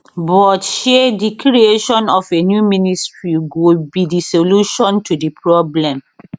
but shey di creation of a new ministry go be di solution to di problem